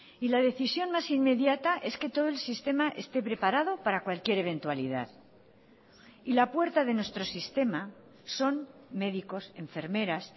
y la decisión más inmediata es que todo el sistema esté preparado para cualquier eventualidad y la puerta de nuestro sistema son médicos enfermeras